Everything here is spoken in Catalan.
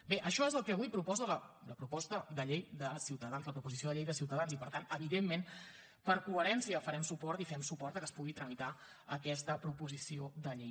bé això és el que avui proposa la proposta de llei de ciutadans la proposició de llei de ciutadans i per tant evidentment per coherència hi farem suport i fem suport que es pugui tramitar aquesta proposició de llei